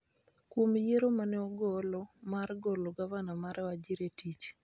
kuom yiero ma ne ogolo mar golo Gavana mar Wajir e tich,